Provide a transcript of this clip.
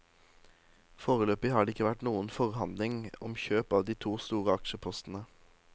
Foreløpig har det ikke vært noen forhandlinger om kjøp av de to store aksjepostene.